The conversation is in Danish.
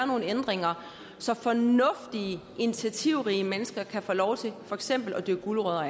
nogle ændringer så fornuftige initiativrige mennesker kan få lov til for eksempel at dyrke gulerødder